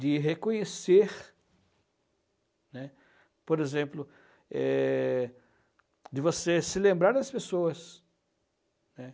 De reconhecer, né, por exemplo, eh... de você se lembrar das pessoas, né?